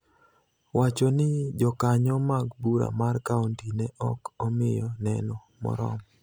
wacho ni Jokanyo mag Bura mar kaonti ne ok omiyo neno moromo.